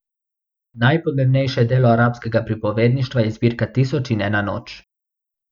Najpomembnejše delo arabskega pripovedništva je zbirka Tisoč in ena noč.